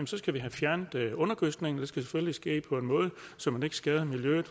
skal have fjernet undergødskningen det skal selvfølgelig ske på en måde så man ikke skader miljøet